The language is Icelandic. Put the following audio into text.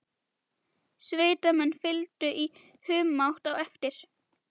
Sveitamenn fylgdu í humátt á eftir.